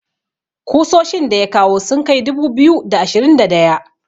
kusoshin da ya kawo sun Kai dubu biyu da ashirin da daya